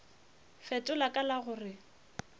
fetola ka la go re